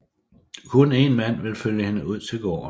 Kun en mand vil følge hende ud til gården